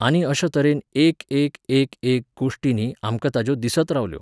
आनी अशा तरेन एक एक एक एक गोश्टी न्ही आमकां ताज्यो दिसत रावल्यो.